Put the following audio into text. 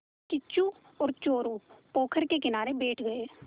किच्चू और चोरु पोखर के किनारे बैठ गए